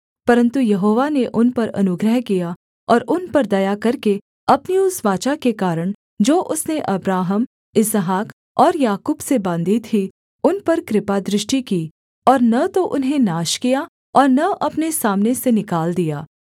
परन्तु यहोवा ने उन पर अनुग्रह किया और उन पर दया करके अपनी उस वाचा के कारण जो उसने अब्राहम इसहाक और याकूब से बाँधी थी उन पर कृपादृष्टि की और न तो उन्हें नाश किया और न अपने सामने से निकाल दिया